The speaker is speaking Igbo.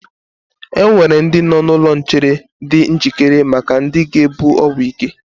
Enwere ndị nọ n'ụlọ nchere di njikere maka ndị ga-ebu ọgwụ ike